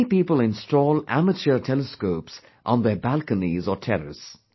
Many people install amateur telescopes on their balconies or terrace